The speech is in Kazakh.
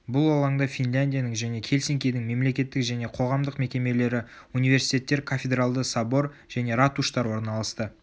бұл алаңда финляндияның және хельсинкидің мелекеттік және қоғамдық мекемелері университеттер кафедралды собор және ратуштар орналасты